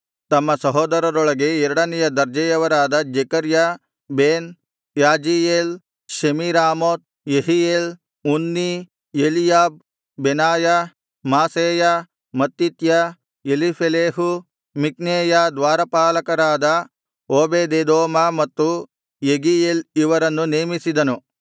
ತಮ್ಮ ಸಹೋದರರೊಳಗೆ ಎರಡನೆಯ ದರ್ಜೆಯವರಾದ Zechariah Ben Jaaziel Shemiramoth Jehiel Unni Eliab Benaiah Maaseiah Mattithiah Eliphelehu ಮಿಕ್ನೇಯ ದ್ವಾರಪಾಲಕರಾದ ಓಬೇದೆದೋಮ ಮತ್ತು ಯೆಗೀಯೇಲ್ ಇವರನ್ನು ನೇಮಿಸಿದನು